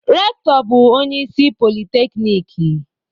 Rektọ bu onye isi politekniki.